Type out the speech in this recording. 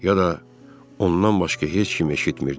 Ya da ondan başqa heç kim eşitmirdi.